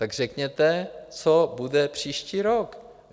Tak řekněte, co bude příští rok.